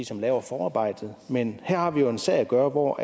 som laver forarbejdet men her har vi jo med en sag at gøre hvor